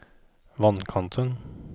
vannkanten